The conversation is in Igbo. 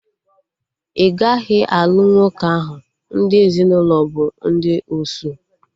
Ị gaghị alụ nwoke ahụ, ndị ezinụlọ bụ ndị osu